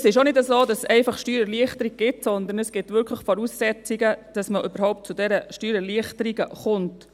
Es ist auch nicht so, dass es einfach Steuererleichterungen gibt, sondern es gibt Voraussetzungen, damit man überhaupt zu diesen Steuererleichterungen kommt.